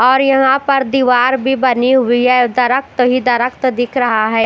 और यहा पर दीवार भी बनी हुई है दरक्त ही दरक्त दिख रहा है।